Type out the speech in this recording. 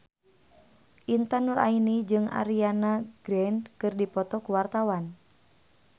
Intan Nuraini jeung Ariana Grande keur dipoto ku wartawan